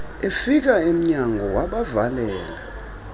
efika emnyango wabavalela